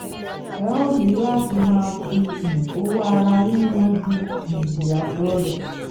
ẹ óò ní láti máa fi um owó ara yín yanjú um ìyàtọ rè